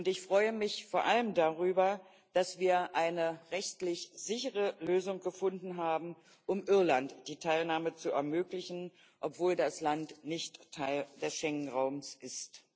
Ich freue mich vor allem darüber, dass wir eine rechtlich sichere Lösung gefunden haben, um Irland die Teilnahme zu ermöglichen, obwohl das Land nicht Teil des Schengen Raums ist.